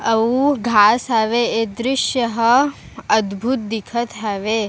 अउ घास हवे ए दृस्य ह अद्भुत दिखत हवे।